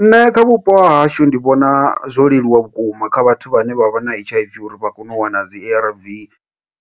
Nṋe kha vhupo hahashu ndi vhona zwo leluwa vhukuma kha vhathu vhane vha vha na H_I_V uri vha kone u wana dzi A_R_V,